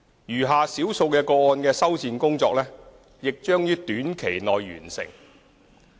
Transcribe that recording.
餘下少數個案的修繕工作亦將於短期內完成。